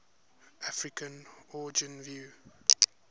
african origin view